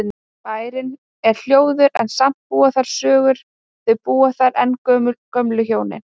Bærinn er hljóður en samt búa þar sögur, þau búa þar enn gömlu hjónin.